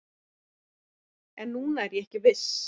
En núna er ég ekki viss